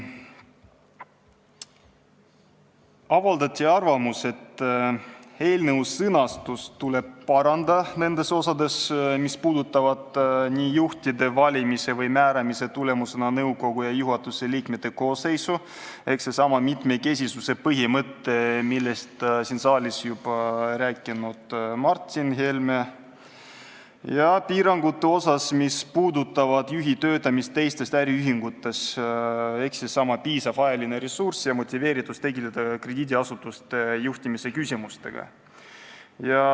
Avaldati arvamust, et eelnõu sõnastust tuleb parandada nendes osades, mis puudutavad juhtide valimise või määramise tulemusena saadud nõukogu ja juhatuse liikmete koosseisu – sellestsamast mitmekesisuse põhimõttest rääkis siin saalis juba Martin Helme – ning piiranguid, mis puudutavad juhi töötamist teistes äriühingutes, ehk sedasama piisavat ajalist ressurssi ja motiveeritust tegeleda krediidiasutuste juhtimise küsimustega.